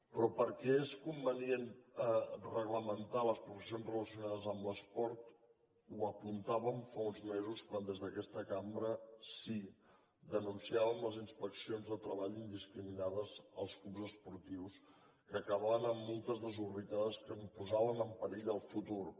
però per què és convenient reglamentar les professions relacionades amb l’esport ho apuntàvem fa uns mesos quan des d’aquesta cambra sí denunciàvem les inspeccions de treball indiscriminades als clubs esportius que acabaven amb multes desorbitades que en posaven en perill el futur